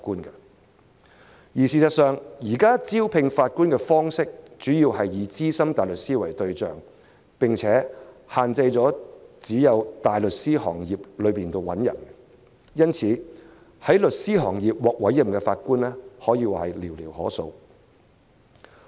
但事實上，現時招聘法官的方式，主要以資深大律師為對象，並且只限在大律師行業內找人，而在事務律師行業獲委任的法官可謂寥寥可數。